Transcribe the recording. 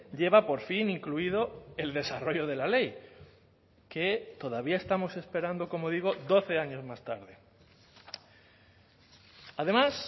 lleva por fin incluido el desarrollo de la ley que todavía estamos esperando como digo doce años más tarde además